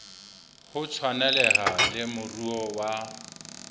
ho tshwaneleha le moruo wa